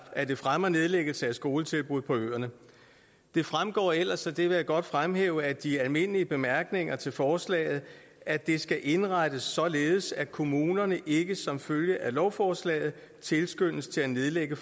at det fremmer nedlæggelse af skoletilbud på øerne det fremgår ellers og det vil jeg godt fremhæve af de almindelige bemærkninger til forslaget at det skal indrettes således at kommunerne ikke som følge af lovforslaget tilskyndes til at nedlægge